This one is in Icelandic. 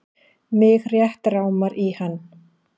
Mig rétt rámar í hann.